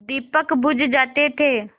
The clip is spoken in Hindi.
दीपक बुझ जाते थे